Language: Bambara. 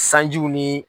Sanjiw ni